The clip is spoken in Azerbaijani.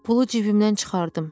Pulu cibimdən çıxardım.